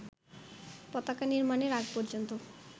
পতাকা নির্মাণের আগ পর্যন্ত